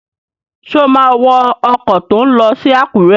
Ṣé o má wọ ọkọ̀ tó n lọ sí Àkúrẹ́?